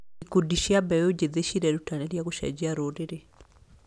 Ikundi cia mbeũ njĩthĩ cirerutanĩria gũcenjia rũrĩrĩ.